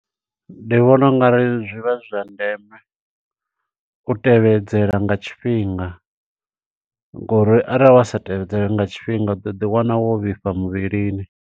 Ndi vhona ungari zwi vha zwi zwa ndeme, u tevhedzela nga tshifhinga, ngo uri arali wa sa tevhedzela nga tshifhinga. U ḓo ḓi wana wo vhifha muvhilini.